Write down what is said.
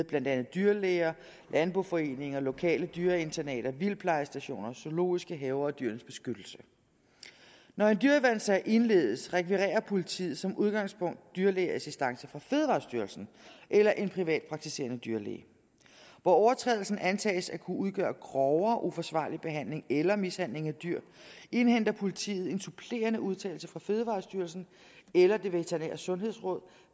blandt andet dyrlæger landboforeninger lokale dyreinternater vildtplejestationer zoologiske haver og dyrenes beskyttelse når en dyreværnssag indledes rekvirerer politiet som udgangspunkt dyrlægeassistance fra fødevarestyrelsen eller en privatpraktiserende dyrlæge hvor overtrædelsen antages at kunne udgøre grovere uforsvarlig behandling eller mishandling af dyr indhenter politiet en supplerende udtalelse fra fødevarestyrelsen eller det veterinære sundhedsråd